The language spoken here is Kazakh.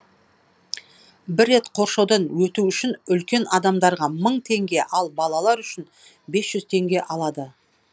бір рет қоршаудан өту үшін үлкен адамдарға мың теңге ал балалар үшін бес жүз теңге алады